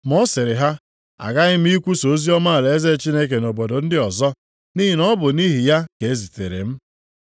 Ma ọ sịrị ha, “Aghaghị m ikwusa oziọma alaeze Chineke nʼobodo ndị ọzọ, nʼihi na ọ bụ nʼihi ya ka e zitere m.”